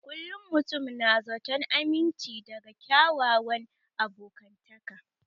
Kullum mutum na zaton aminci daga kyakkyawan abokantaka